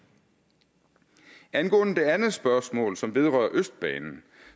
angående det andet spørgsmål som vedrører østbanen